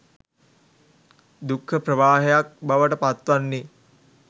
දුක්ඛ ප්‍රවාහයක් බවට පත්වන්නේ